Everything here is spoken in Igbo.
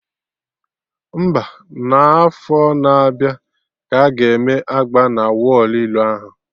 Mba, n'afọ na-abịa ka aga eme agba na wọlụ ilo ahụ